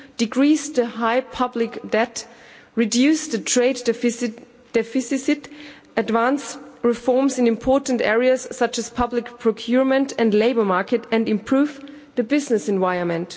decrease the high public debt, reduce the trade deficit, advance reforms in important areas, such as public procurement and labour market, and improve the business environment.